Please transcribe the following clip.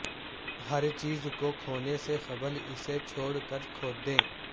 ہر چیز کو کھونے سے قبل اسے چھوڑ کر کھو دیں